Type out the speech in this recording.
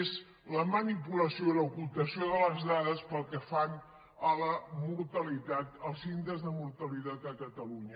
és la manipulació i l’ocultació de les dades pel que fa a la mortalitat als índexs de mortalitat a catalunya